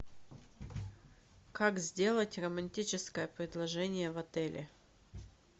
как сделать романтическое предложение в отеле